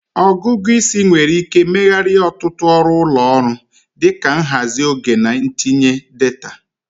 Ọgụgụ isi nwere ike megharịa ọtụtụ ọrụ ụlọ ọrụ, dị ka nhazi oge na ntinye data.